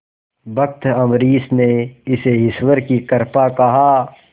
भक्त अम्बरीश ने इसे ईश्वर की कृपा कहा